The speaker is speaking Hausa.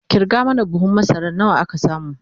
kirga mana buhun masara nawa aka samu!